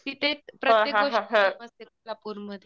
तिथे प्रत्येक गोष्ट कोल्हापूरमध्ये.